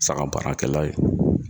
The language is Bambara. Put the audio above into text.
Saga baarakɛla ye.